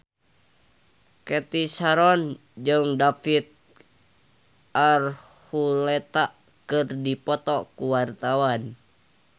Cathy Sharon jeung David Archuletta keur dipoto ku wartawan